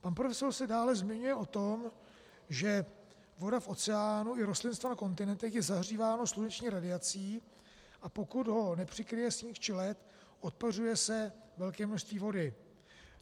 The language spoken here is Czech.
Pan profesor se dále zmiňuje o tom, že voda v oceánu i rostlinstvo na kontinentech je zahříváno sluneční radiací, a pokud ho nepřikryje sníh či led, odpařuje se velké množství vody.